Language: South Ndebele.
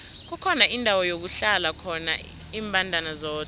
kukhona indawo lakuhlala khona imbandana zodwa